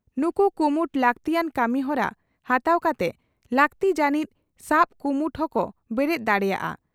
ᱱᱩᱠᱩ ᱠᱩᱢᱩᱴ ᱞᱟᱹᱠᱛᱤᱭᱟᱱ ᱠᱟᱹᱢᱤᱦᱚᱨᱟ ᱦᱟᱛᱟᱣ ᱠᱟᱛᱮ ᱞᱟᱹᱠᱛᱤ ᱡᱟᱹᱱᱤᱡ ᱥᱟᱵ ᱠᱩᱢᱩᱴ ᱦᱚᱸᱠᱚ ᱵᱮᱨᱮᱫ ᱫᱟᱲᱮᱭᱟᱜᱼᱟ ᱾